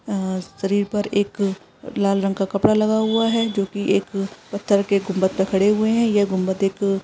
आ-आ शरीर पर एक लाल रंग का कपड़ा लगा हुआ है जोकि एक पथर के गुंबद पर खड़े हुए हैं ये गुंबद एक --